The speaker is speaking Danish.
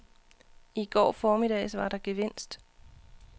I går formiddags var der gevinst.